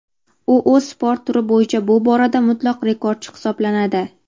U o‘z sport turi bo‘yicha bu borada mutlaq rekordchi hisoblanadi.